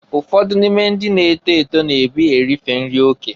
Ụfọdụ n'ime ndị na-eto eto na-ebi erife nri oke.